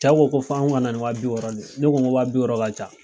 Cɛw ko ko fɔ anw ka na ni waa bi wɔɔrɔ de ye ne ko ko waa bi wɔɔrɔ ka ca.